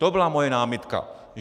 To byla moje námitka.